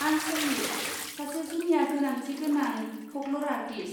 आं सहिस, सासे जुनिया गोनांथि गोनां फ'कल'र आर्टिस्ट।